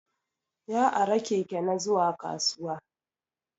Ya ara Keke na zuwa kasuwa.